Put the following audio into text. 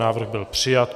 Návrh byl přijat.